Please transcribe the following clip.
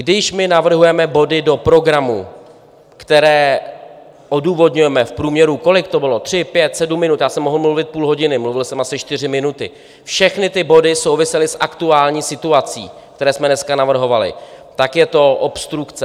Když my navrhujeme body do programu, které odůvodňujeme v průměru - kolik to bylo? - tři, pět, sedm minut, já jsem mohl mluvit půl hodin, mluvil jsem asi čtyři minuty, všechny ty body souvisely s aktuální situací, které jsme dneska navrhovali, tak je to obstrukce.